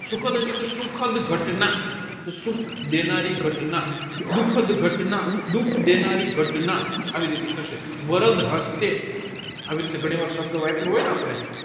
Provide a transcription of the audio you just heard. સુખદ એટલે કે સુખદ ગતના સુખ દેનારી ગતના દુઃખદ ગતના દુઃખ દેનારી ગતના એવી રીતે થશે આવીરીતે ગણી વાર સબધ વાપરુ હોયને આપડે